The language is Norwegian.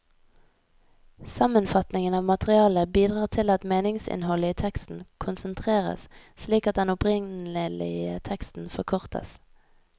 Sammenfatningen av materialet bidrar til at meningsinnholdet i teksten konsentreres slik at den opprinnelige teksten forkortes.